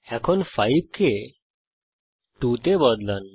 এখন 5 কে 2 তে বদলান